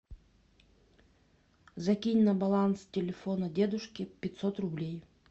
закинь на баланс телефона дедушки пятьсот рублей